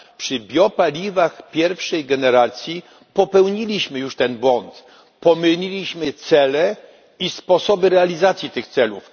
Przy biopaliwach pierwszej generacji popełniliśmy już ten błąd. Pomyliliśmy cele i sposoby realizacji tych celów.